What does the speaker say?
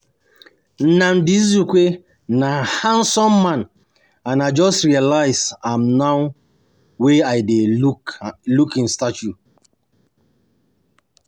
Nnamdi Azikiwe na handsome man and I just realize am now wey I dey look im statue